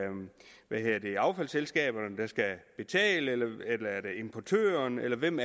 affaldsselskaberne der skal betale eller det er importøren eller hvem